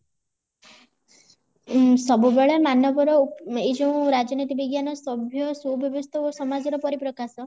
ସବୁବେଳେ ମାନବ ର ଏଇ ଯୋଉ ରାଜନୀତି ବିଜ୍ଞାନ ସଭ୍ଯ ସୁବ୍ୟବସ୍ଥା ଓ ସମାଜ ର ପରିପ୍ରକାଶ